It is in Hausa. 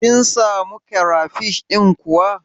Kin samu karafish ɗin kuwa?